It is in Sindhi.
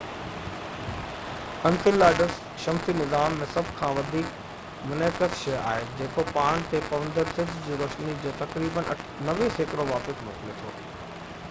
انسيلاڊس شمسي نظام ۾ سڀ کان وڌيڪ منعڪس شي آهي جيڪو پاڻ تي پوندڙ سج جي روشني جو تقريبن 90 سيڪڙو واپس موڪلي ٿو